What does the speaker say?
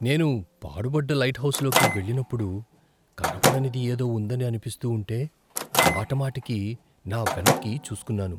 నేను పాడుబడ్డ లైట్హౌస్లోకి వెళ్లినప్పుడు, కనపడనిది ఏదో ఉందని అనిపిస్తూ ఉంటే, మాటిమాటికి నా వెనక్కి చూస్కున్నాను.